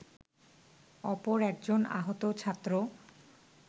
অপর একজন আহত ছাত্র